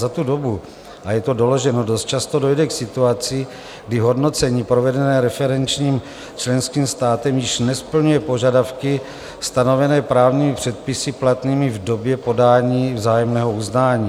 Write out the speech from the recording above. Za tu dobu - a je to doloženo - dost často dojde k situaci, kdy hodnocení provedené referenčním členským státem již nesplňuje požadavky stanovené právními předpisy platnými v době podání vzájemného uznání.